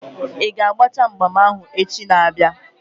Ị ga-agbacha mgbam ahụ echi na-abịa?